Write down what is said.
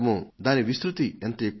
దాని విస్తృతి ఎంతో ఎక్కువో